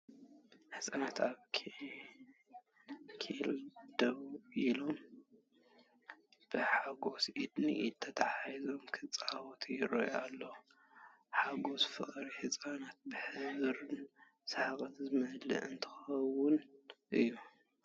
ህጻናት ኣብ ዓንኬል ደው ኢሎም፡ ብሓጎስ ኢድ ንኢድ ተተሓሒዞም፡ ክጻወቱ ይረኣዩ ኣለው። ሓጎስን ፍቕርን ህጻናት ብሕብርን ሰሓቕን ዝመልአ እንትኸውን እዩ።